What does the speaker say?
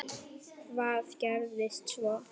Hvað gerðist svo?